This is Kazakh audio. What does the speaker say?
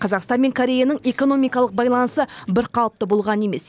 қазақстан мен кореяның экономикалық байланысы бірқалыпты болған емес